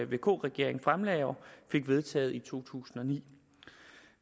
vk regeringen fremlagde og fik vedtaget i to tusind og ni